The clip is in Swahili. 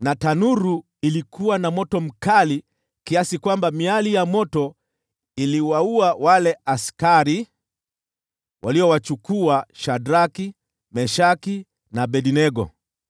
na tanuru ilikuwa na moto mkali kiasi kwamba miali ya moto iliwaua wale askari waliowapeleka Shadraki, Meshaki na Abednego.